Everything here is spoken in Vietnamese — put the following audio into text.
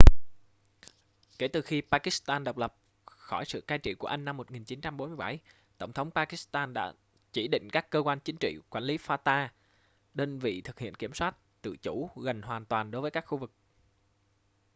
kể từ khi pakistan độc lập khỏi sự cai trị của anh năm 1947 tổng tống pakistan đã chỉ định các cơ quan chính trị quản lý fata đơn vị thực hiện kiểm soát tự chủ gần hoàn toàn đối với các khu vực